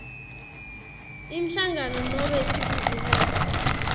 inhlangano nobe ibhizinisi